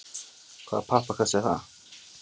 Hvaða pappakassi er það?